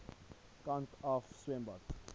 kant af swembad